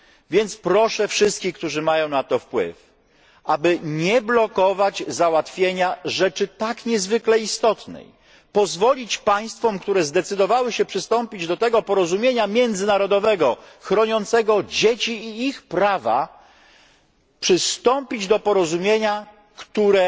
Więc proszę wszystkich, którzy mają na to wpływ, aby nie blokować załatwienia rzeczy tak niezwykle istotnej, lecz pozwolić państwom, które zdecydowały się przystąpić do tego porozumienia międzynarodowego, chroniącego dzieci i ich prawa, przystąpić do porozumienia, które